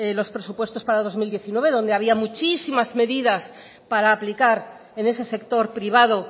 los presupuestos para dos mil diecinueve donde habían muchísimas medidas para aplicar en ese sector privado